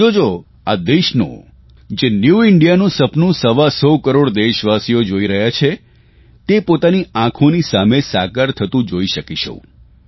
તમે જોજો આ દેશનું જે ન્યુ ઇન્ડિયાનું સપનું સવા સો કરોડ દેશવાસીઓ જોઇ રહ્યા છે તે પોતાની આંખોની સામે સાકાર થતું જોઇ શકીશું